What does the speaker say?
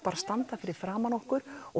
standa fyrir framan okkur og